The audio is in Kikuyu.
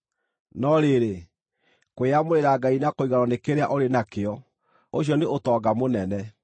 No rĩrĩ, kwĩyamũrĩra Ngai na kũiganwo nĩ kĩrĩa ũrĩ na kĩo, ũcio nĩ ũtonga mũnene.